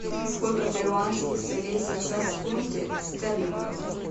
сколько перуанских солей сейчас в фунте стерлингов